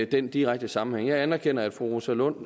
den direkte sammenhæng jeg anerkender at fru rosa lund